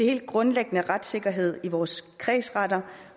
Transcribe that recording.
helt grundlæggende retssikkerhed i vores kredsretter